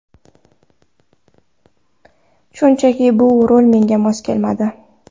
Shunchaki bu rol menga mos kelmadi.